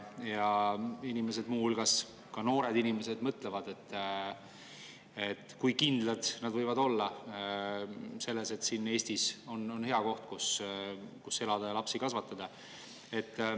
Inimesed, noored, mõtlevad selle peale, kui kindlad nad olla, et Eesti on hea koht, kus elada ja lapsi kasvatada.